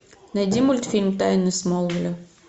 найди мультфильм тайны смолвиля